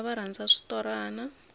vana va rhandza switorana